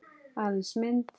Aðeins mynd.